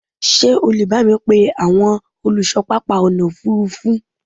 ṣé o lè bámi pe àwọn olùṣọ pápá ọ̀nà òfurufú?